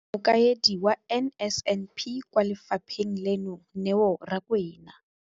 Mokaedi wa NSNP kwa lefapheng leno, Neo Rakwena,